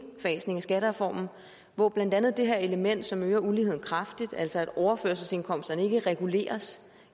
indfasning af skattereformen hvor blandt andet det her element som øger uligheden kraftigt altså at overførselsindkomsterne ikke reguleres